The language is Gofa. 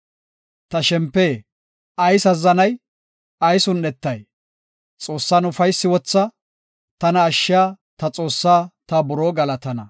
Ta shempe ayis azzanay? ayis un7etay? Xoossan ufaysi wotha; tana ashshiya, ta Xoossaa ta buroo galatana.